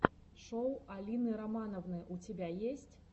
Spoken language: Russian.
шоу алины романовны у тебя есть